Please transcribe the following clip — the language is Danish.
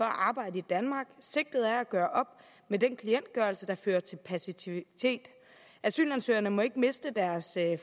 arbejde i danmark sigtet er at gøre op med den klientgørelse som fører til passivitet asylansøgere må ikke miste deres